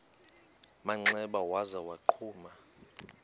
manxeba waza wagquma